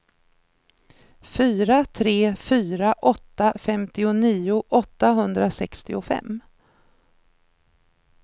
fyra tre fyra åtta femtionio åttahundrasextiofem